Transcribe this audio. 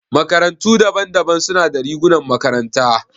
Makarantu daban-daban suna da rigunan makaranta.